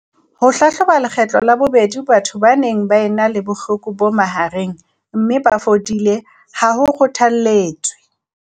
Ho hlahloba lekgetlo la bobedi batho ba neng ba ena le bohloko bo mahareng mme ba fodile ha ho kgothaletswe.